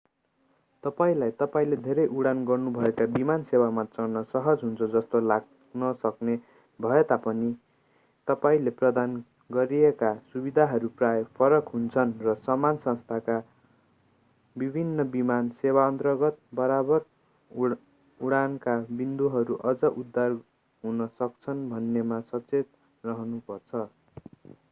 तपाईंलाई तपाईंले धेरै उडान गर्नुभएका विमान सेवामा चढ्न सहज हुन्छ जस्तो लाग्न सक्ने भए तापनि तपाईंले प्रदान गरिएका सुविधाहरू प्राय फरक हुन्छन् र समान संस्थाका विभिन्न विमान सेवाअन्तर्गत बारम्बार उडानका बिन्दुहरू अझ उदार हुन सक्छन् भन्नेमा सचेत रहनुपर्छ